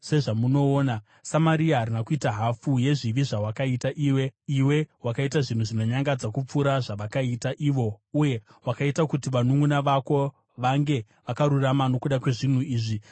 Samaria harina kuita hafu yezvivi zvawakaita iwe. Iwe wakaita zvinhu zvinonyangadza kupfuura zvavakaita ivo, uye wakaita kuti vanunʼuna vako vange vakarurama nokuda kwezvinhu izvi zvawakaita iwe.